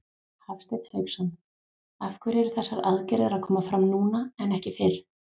Hafsteinn Hauksson: Af hverju eru þessar aðgerðir að koma fram núna en ekki fyrr?